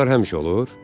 Ağrılar həmişə olur?